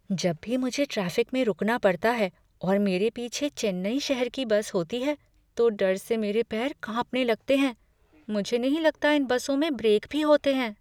जब भी मुझे ट्रैफ़िक में रुकना पड़ता है और मेरे पीछे चेन्नई शहर की बस होती है तो डर से मेरे पैर कांपने लगते हैं। मुझे नहीं लगता कि इन बसों में ब्रेक भी होते हैं।